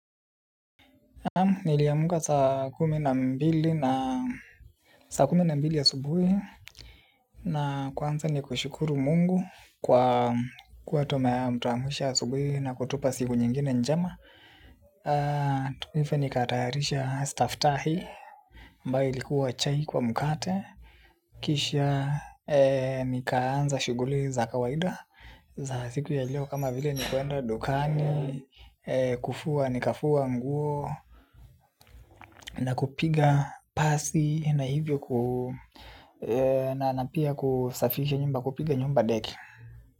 Niliamka saa kumi na mbili asubuhi na kwanza ni kushukuru Mungu kwa kutuamsha asubuhi na kutupa siku nyingine njema. Nifu nikatayarisha staftahi ambayo ilikuwa chai kwa mkate. Kisha nikaanza shuguli za kawaida za siku ya leo kama vile ni kuenda dukani. Kufua nikafua nguo na kupiga pasi na hivyo. Na pia kusafisha nyumba, kupiga nyumba deki.